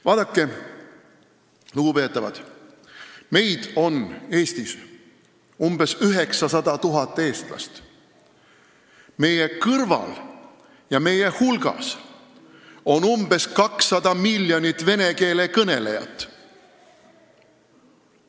Vaadake, lugupeetavad, Eestis on umbes 900 000 eestlast, meie kõrval ja meie hulgas on umbes 200 miljonit vene keele kõnelejat.